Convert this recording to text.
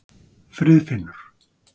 Friðfinnur